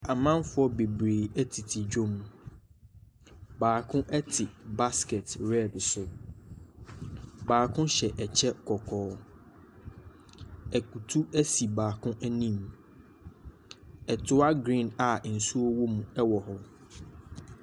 Amanfoɔ bebree ɛtete dwom. Baako ɛte baskɛt rɛd so. Baako hyɛ ɛkyɛ kɔkɔɔ. Akutu esi baako anim. Ɛtua griin a nsuo wom ɛwɔ hɔ.